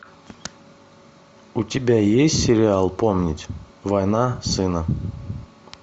у тебя есть сериал помнить война сына